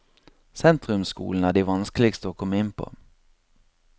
Sentrumsskolene er de vanskeligste å komme inn på.